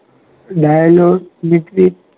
વાહિનીઓ leak